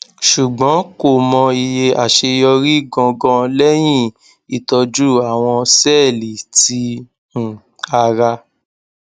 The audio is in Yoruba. ṣugbọn ko mọ iye aṣeyọri gangan lẹhin itọju awọn sẹẹli ti um ara